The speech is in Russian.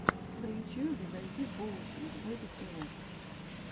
на ютьюбе найди боунсинг бэби тэ вэ